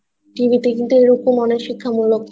টিভিতে কিন্তু এখন অনেক শিক্ষা মুলক